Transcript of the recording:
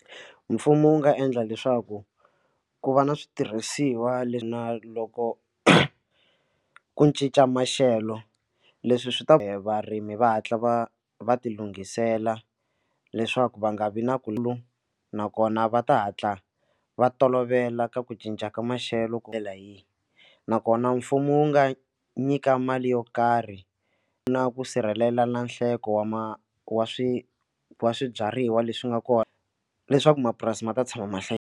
Mfumo wu nga endla leswaku ku va na switirhisiwa leswi na loko ku cinca maxelo leswi swi ta ka varimi va hatla va va ti lunghisela leswaku va nga vi na ku lu nakona va ta hatla va tolovela ka ku cinca ka maxelo ku tlhela hi nakona mfumo wu nga nyika mali yo karhi na ku sirhelela na nhlengo wa ma wa swi swibyariwa leswi nga kona leswaku mapurasi ma ta tshama mahlayi .